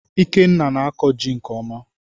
Ikenna na-akọ jị nke ọma